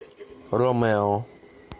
ромео